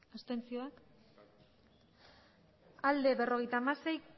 abstentzioa berrogeita hamasei